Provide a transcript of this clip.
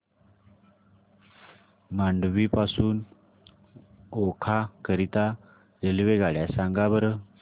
मांडवी पासून ओखा करीता रेल्वेगाड्या सांगा बरं